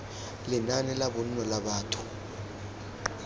lenaane la bonno la batho